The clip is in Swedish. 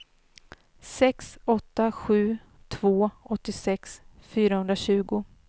sex åtta sju två åttiosex fyrahundratjugo